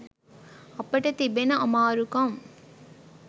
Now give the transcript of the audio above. අපට තිබෙන අමාරුකම්